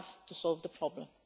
We have to solve the problem.